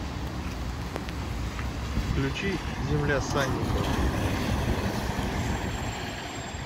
включи земля санникова